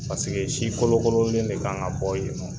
Paseke si de kan ka bɔ yen nɔn.